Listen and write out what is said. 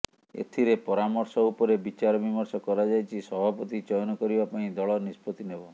ଏଥିରେ ପରାର୍ମଶ ଉପରେ ବିଚାରବିର୍ମଶ କରାଯାଇଛି ସଭାପତି ଚୟନ କରିବା ପାଇଁ ଦଳ ନିଷ୍ପତି ନେବ